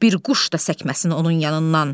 Bir quş da səkməsin onun yanından.